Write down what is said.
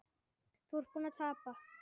Þú ert búinn að tapa